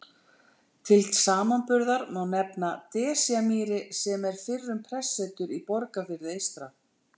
Til samanburðar má nefna Desjarmýri sem er fyrrum prestsetur í Borgarfirði eystra.